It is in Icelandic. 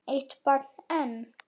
Eitt barn enn?